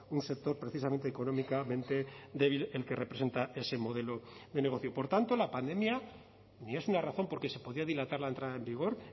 un sector precisamente económicamente débil el que representa ese modelo de negocio por tanto la pandemia ni es una razón porque se podía dilatar la entrada en vigor